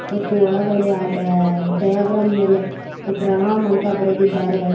ಮತ್ತು ಒಳಗಡೆ ಆ ಡ ಡಯಗ್ರಾಮ್‌ ಮೆಲೆ ಪ್ರಣಾಮ್‌ ಅಂತ ಬರದ್ದಿದಾರೆ.